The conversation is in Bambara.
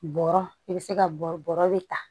Bɔrɔ i bɛ se ka bɔrɔ de ta